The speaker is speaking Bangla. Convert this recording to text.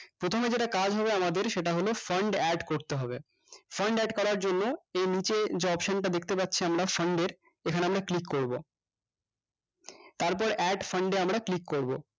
প্রথমে যেটা কাজ হবে আমাদের সেটা হলো fund add করতে হবে fund add করার জন্য এ নিচে যে option টা দেখতে পাচ্ছি আমরা fund এর এখানে আমরা click করবো তারপর add fund এ আমরা click করবো